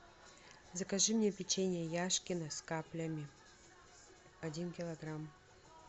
закажи мне печенье яшкино с каплями один килограмм